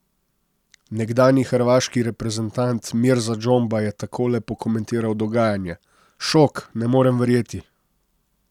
Nekdanji hrvaški reprezentant Mirza Džomba je takole pokomentiral dogajanje: 'Šok, ne morem verjeti.